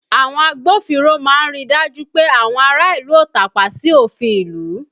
Àwọn agbófinró máa ń ríi dájú pé àwọn ará ìlú ó tàpá sí òfin ìlú